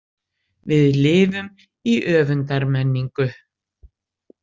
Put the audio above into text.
Við lifum í öfundarmenningu.